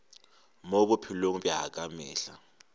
mo bophelong bja ka mehla